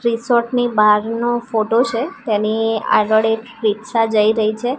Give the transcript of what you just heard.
Resort ની બારનો photo છે તેની આગળ એક રીક્ષા જય રહી છે.